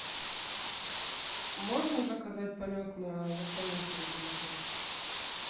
можно заказать полет на вертолете в этом отеле